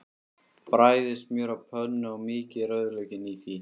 Bræðið smjör á pönnu og mýkið rauðlaukinn í því.